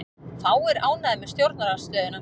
Fáir ánægðir með stjórnarandstöðuna